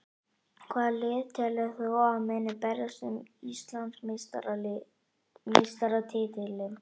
Hvaða lið telur þú að muni berjast um Íslandsmeistaratitilinn?